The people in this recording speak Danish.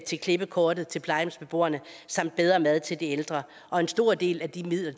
til klippekortet til plejehjemsbeboerne samt bedre mad til de ældre og en stor del af de midler